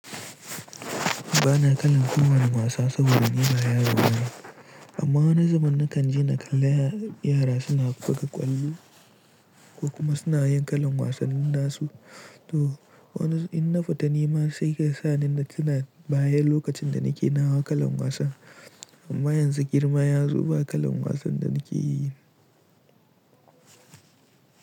Ba na kallon kowane wasa saboda girma ya zo min. Amma wani zubin nakan je na kalla yara suna buga ƙwallo ko kuma suna yin kalan wasannin nasu. To wani in na fita nima sai kesa ni na tuna baya lokacin da nake nawa kalan wasan. Amma yanzu girma yazo ba kalan wasan da nake yi.